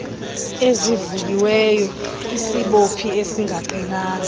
ezivuliweyo isibophi esingaqinanga